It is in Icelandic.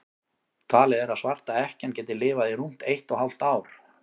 talið er að svarta ekkjan geti lifað í rúmt eitt og hálft ár